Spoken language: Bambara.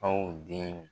Aw den